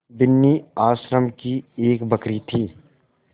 बिन्नी आश्रम की एक बकरी थी